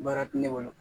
Baara tɛ ne bolo